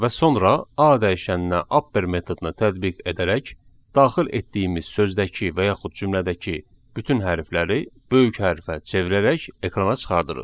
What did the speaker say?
və sonra A dəyişəninə upper metodunu tətbiq edərək daxil etdiyimiz sözdəki və yaxud cümlədəki bütün hərfləri böyük hərfə çevirərək ekrana çıxarırıq.